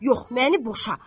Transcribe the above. Yox, məni boşa.